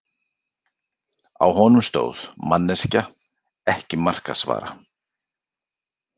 Á honum stóð: Manneskja- ekki markaðsvara.